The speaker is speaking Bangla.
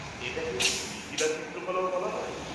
এটা কে কি মিথিলা চিত্রকলাও বলা হয়?